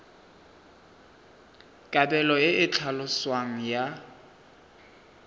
kabelo e e tlhaloswang ya